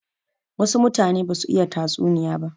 Wasu mutane ba su iya tatsuniya ba.